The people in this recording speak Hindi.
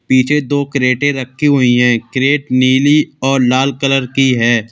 पीछे दो क्रेटे रखी हुई है क्रेट नीली और लाल कलर की है।